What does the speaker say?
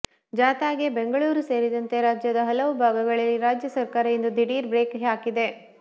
ಜಾಥಾಗೆ ಬೆಂಗಳೂರು ಸೇರಿದಂತೆ ರಾಜ್ಯದ ಹಲವು ಭಾಗಗಳಲ್ಲಿ ರಾಜ್ಯ ಸರಕಾರ ಇಂದು ದಿಢೀರ್ ಬ್ರೇಕ್ ಹಾಕಿದೆ